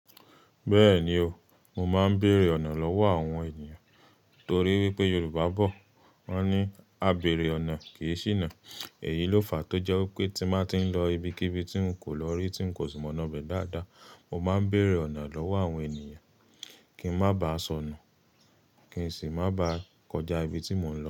Bẹ́ẹ̀ni o, mo máa ń bèèrè ọ̀nà lọ́wọ́ àwọn ènìyàn torí wípé Yorùbá bọ̀ wọ́n ní "A bèèrè ọ̀nà kì í ṣìnà". Èyí ló fàá tó jẹ́ wípé tí máa ti ń lọ ibikíbi tí ń kò lọ rí, tí ń kò sì mọ̀ iná bẹ̀ dáadáa, mo máa ń bèèrè ọ̀nà lọ́wọ́ àwọn ènìyàn kí ń má ba à sọnù, kí ń sì má ba à kọjá ibi tí mò ń lọ.